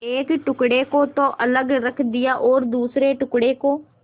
एक टुकड़े को तो अलग रख दिया और दूसरे टुकड़े को